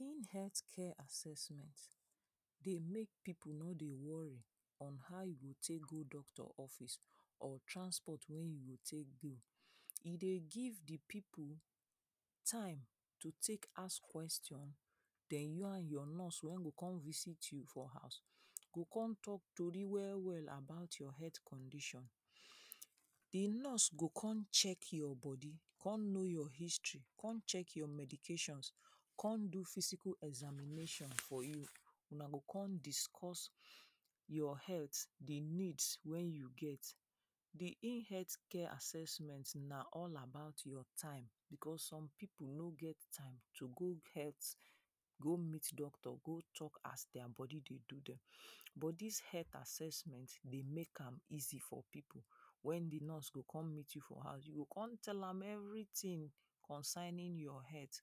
Room health care assessment dey make pipu no dey worry on how you go take go doctor office or transport wey you go take go, e dey give di pipu time to take ask question den you and your nurse wey go come visit you for house go kon talk tory well well about your health condition, di nurse go kon check your body kon know your history, kon check your medications, kon do physical examination for you una go kon discuss your health di needs wey you get. Di in health care assessment na all about your time becos some pipu no get time to go health, go meet doctor to go talk as dia body dey do dem but dis health assessment dey make am easy for pipu wen di nurse go kon meet you for house you go kon tell am everytin concerning your health,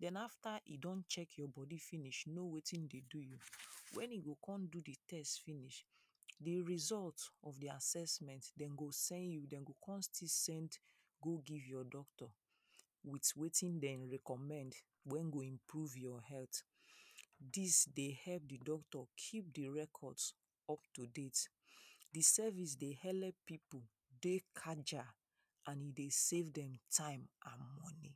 den after e don check your body finish know wetin dey do you, wen e go kon do di test finish di result of do assessment dem go send you dey go kon still send go give your doctor with wetin dem recommend wey go improve your health wey go improve your health, dis dey help di doctor keep di records up to date. Di service dey elep pipu dey agile and e dey save dem time and money.